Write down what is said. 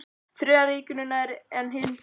Þriðja ríkinu nær en hin blöðin.